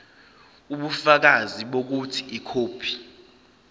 ubufakazi bokuthi ikhophi